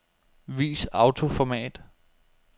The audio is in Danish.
Vis autoformat.